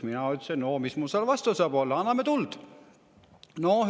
" Mina ütlesin: "Oo, mis mul selle vastu saab olla, anname tuld!